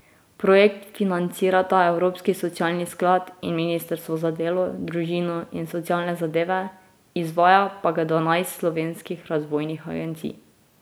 Projekt financirata evropski socialni sklad in ministrstvo za delo, družino in socialne zadeve, izvaja pa ga dvanajst slovenskih razvojnih agencij.